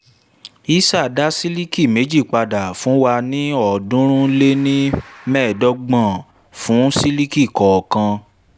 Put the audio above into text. hisar dá sílíkì méjì padà fún wa ní ọ̀ọ́dúnrún-lé-ní-mẹ́ẹ̀dọ́gbọ̀n fún saree kọ̀ọ̀kan.